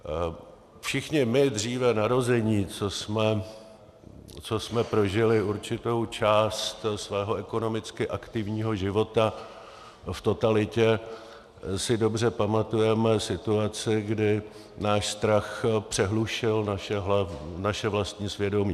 Všichni my dříve narození, co jsme prožili určitou část svého ekonomicky aktivního života v totalitě, si dobře pamatujeme situace, kdy náš strach přehlušil naše vlastní svědomí.